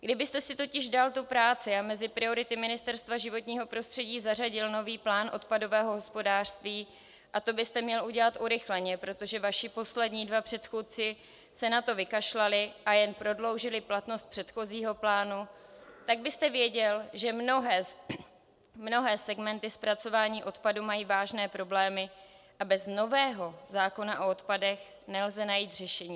Kdybyste si totiž dal tu práci a mezi priority Ministerstva životního prostředí zařadil nový plán odpadového hospodářství, a to byste měl udělat urychleně, protože vaši poslední dva předchůdci se na to vykašlali a jen prodloužili platnost předchozího plánu, tak byste věděl, že mnohé segmenty zpracování odpadu mají vážné problémy a bez nového zákona o odpadech nelze najít řešení.